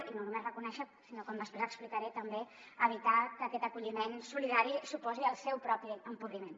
i no només reconèixer sinó com després explicaré també evitar que aquest acolliment solidari suposi el seu propi empobriment